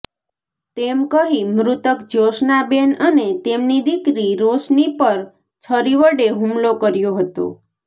તેમ કહી મૃતક જ્યોશનાબેન અને તેમની દીકરી રોશની પર છરી વડે હુમલો કર્યો હતો